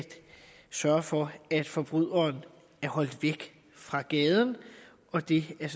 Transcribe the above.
sørge for at forbryderen er holdt væk fra gaden og det er